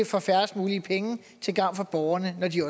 for færrest mulige penge til gavn for borgerne når de